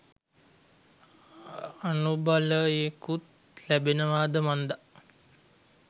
අනුබලයකුත් ලැබෙනවාද මන්දා.